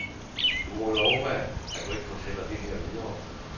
Du må love mig, at du ikke fortæller det her videre.